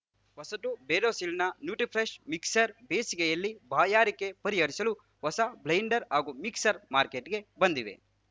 ಹೊಸತು ಬೇರೋಸಿಲ್‌ನ Nutrifresh mixer ಬೇಸಿಗೆಯಲ್ಲಿ ಬಾಯಾರಿಕೆ ಪರಿಹರಿಸಲು ಹೊಸ ಬ್ಲೆಂಡರ್‌ ಹಾಗೂ ಮಿಕ್ಸರ್‌ ಮಾರ್ಕೆಟ್‌ಗೆ ಬಂದಿದೆ